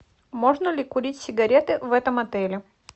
можно ли курить сигареты в этом отеле